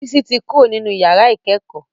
Bisi tí Kúrò nínú yàrá ikẹkọ.